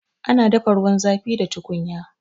Ana dafa ruwan zafi da tukunya